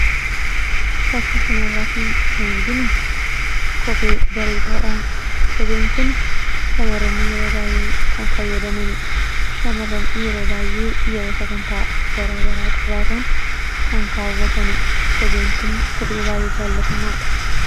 Fakkii kanarraatii kan arginu kophee bareedaadha. Kopheen kun shamarran yeroo baay'ee kan fayyadamanidha. Shamarran yeroo bay'ee yeroo sagantaa garaagaraa qabaatan kan kaawwatanidha. Kopheen kun kophee baay'ee jaallatamaadha.